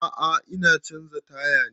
A'a ina canza taya ne